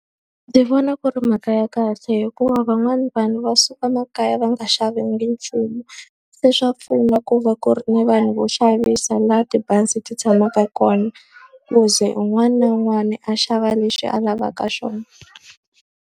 Ndzi vona ku ri mhaka ya kahle hikuva van'wana vanhu va suka emakaya va nga xavanga nchumu. Se swa pfuna ku va ku ri ni vanhu vo xavisa laha tibazi ti tshamaka kona, ku ze un'wana na un'wana a xava lexi a lavaka xona.